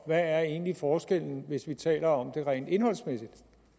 er egentlig forskellen hvis vi taler om det rent indholdsmæssige